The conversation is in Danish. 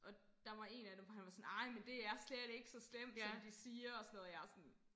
Og der var en af dem han var sådan ej men det er slet ikke så slemt som de siger og sådan noget og jeg sådan